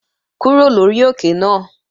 Kúrò lórí òkè náà!